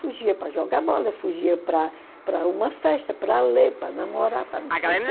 Fugia para jogar bola, fugia para para uma festa, para ler, para namorar, para não sei o quê.